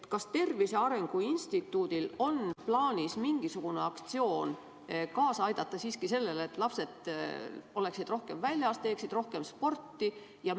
Kas Tervise Arengu Instituudil on plaanis mingisugune aktsioon, kuidas aidata kaasa sellele, et lapsed oleksid rohkem väljas, teeksid rohkem sporti?